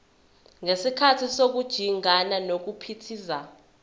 ngesikhathi sokujingana nokuphithiza